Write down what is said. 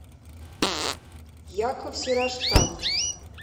яков сираштан